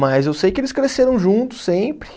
Mas eu sei que eles cresceram juntos sempre.